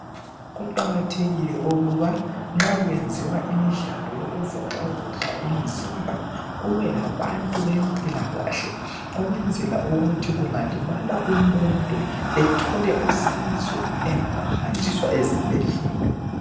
Kuqakathekile ukuba nxa kwenziwa imidlalo yokuvoxa voxa imizimba kubelabantu bempilakahle ukwenzela ukuthi kungalimala umuntu ethole usizo engakahanjiswa ezibhedlela.